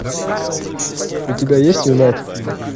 у тебя есть юнайтед